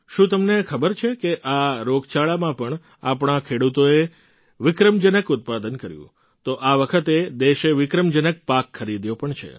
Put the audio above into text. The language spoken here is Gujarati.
શું તમને ખબર છે કે આ રોગચાળામાં પણ આપણા ખેડૂતોએ વિક્રમજનક ઉત્પાદન કર્યું તો આ વખતે દેશે વિક્રમજનક પાક ખરીદ્યો પણ છે